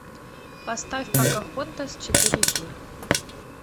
поставь покахонтас четыре кей